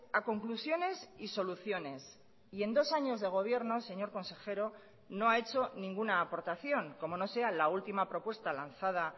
a conclusiones y soluciones y en dos años de gobierno señor consejero no ha hecho ninguna aportación como no sea la última propuesta lanzada